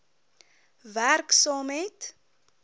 werk saam met